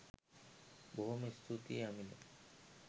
බොහොම ස්තුතියි අමිල